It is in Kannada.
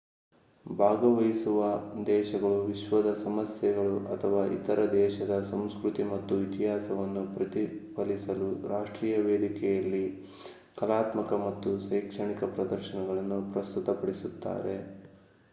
ಭಾಗವಹಿಸುವ ದೇಶಗಳು ವಿಶ್ವದ ಸಮಸ್ಯೆಗಳು ಅಥವಾ ತಮ್ಮ ದೇಶದ ಸಂಸ್ಕೃತಿ ಮತ್ತು ಇತಿಹಾಸವನ್ನು ಪ್ರತಿಫಲಿಸಲು ರಾಷ್ಟ್ರೀಯ ವೇದಿಕೆಯಲ್ಲಿ ಕಲಾತ್ಮಕ ಮತ್ತು ಶೈಕ್ಷಣಿಕ ಪ್ರದರ್ಶನಗಳನ್ನು ಪ್ರಸ್ತುತಪಡಿಸುತ್ತಾರೆ